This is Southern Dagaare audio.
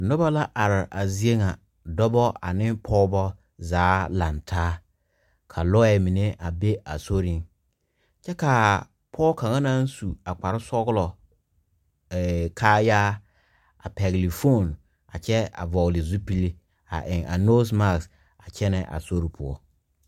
Nuba la arẽ a zeɛ nga dɔba ane pɔgba zaa lang taa ka lɔɛ mene a be a sorin kye kaa pou kanga nang su a kpare sɔglo kaayaa a pɛgli foon a kye vɔgle zupili a eng a nose mask a kyena a sorin.